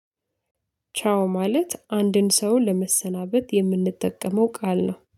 ቻው ማለት አንድን ሰው ለመሰናበት የምንጠቀመው ቃል ነው